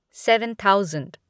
seven thousand